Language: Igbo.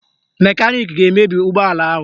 Mekaniki ga-emebi ụgbọala ahụ